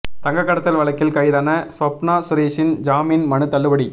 தங்கக் கடத்தல் வழக்கில் கைதான ஸ்வப்னா சுரேஷின் ஜாமீன் மனு தள்ளுபடி